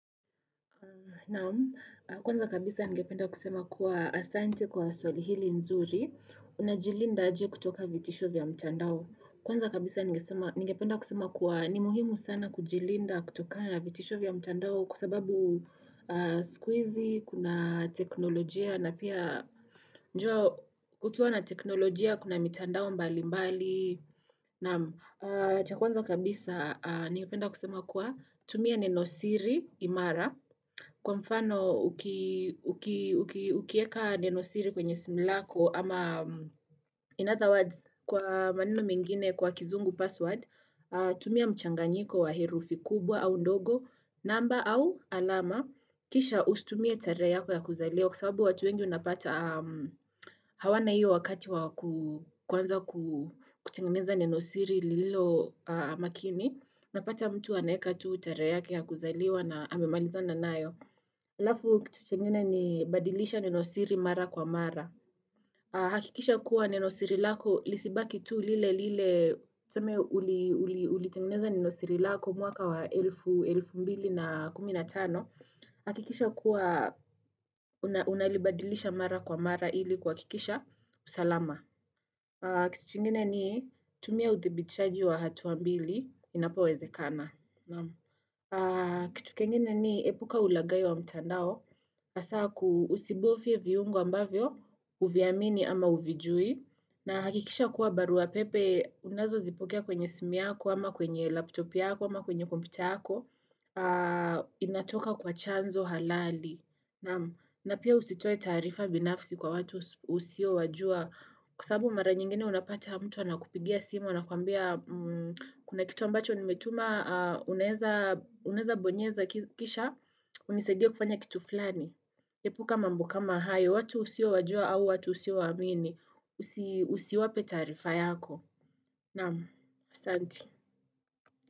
Naam, kwanza kabisa nigependa kusema kuwa asante kwa soli hili nzuri, unajilinda aje kutoka vitisho vya mtandao. Kwanza kabisa nigependa kusema kuwa ni muhimu sana kujilinda kutoka vitisho vya mtandao kusababu siku, kuna teknolojia na pia njua kukiwa na teknolojia kuna mitandao mbali mbali. Naamu, cha kwanza kabisa, niyopenda kusema kuwa, tumia nenosiri imara, kwa mfano ukieka nenosiri kwenye simlako, ama in other words, kwa manino mingine kwa kizungu password, tumia mchanganyiko wa herufi kubwa au ndogo, namba au alama, kisha ustumie tarea yako ya kuzaleo, Kwa kusawabu watu wengi unapata hawana hiyo wakati wakuanza kutengeneza ninosiri lilo makini. Unapata mtu aneka tu utare yake ya kuzaliwa na ame maliza na nayo. Alafu kitu chengine ni badilisha ninosiri mara kwa mara. Hakikisha kuwa nenosiri lako lisibaki tu lile lile. Tume ulitengeneza nenosiri lako mwaka wa elfu mbili na kumi na tano. Hakikisha kuwa unalibadilisha mara kwa mara ili kwa kikisha usalama. Kitu kengene ni tumia uthibichaji wa hatuambili inapoweze kana. Kitu kengene ni epuka ulagayo wa mtandao. Asa kuusibofie viungo ambavyo uvyaamini ama uvijui. Na hakikisha kuwa barua pepe unazo zipokea kwenye simu ako ama kwenye laptopi ako ama kwenye kompyuta ako. Inatoka kwa chanzo halali na pia usitoe taarifa binafsi kwa watu usio wajua Kusabu mara nyingine unapata hama mtu wana kupigia simo wana kuambia kuna kitu ambacho nimetuma uneza bonyeza kisha Unisegea kufanya kitu fulani Kepuka mambo kama hayo watu usio wajua au watu usiowaamini Usiwape taarifa yako namu, asanti.